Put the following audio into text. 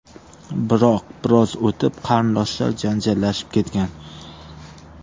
Biroq biroz o‘tib qarindoshlar janjallashib ketgan.